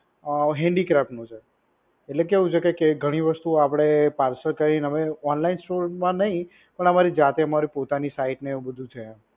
handicraft નુ છે. એટલે કેવું છે કે ઘણી વસ્તુ આપડે parcel કરીને અમે online store માં નહિ પણ અમારી જાતે અમારી પોતાની site ને એવું બધું છે.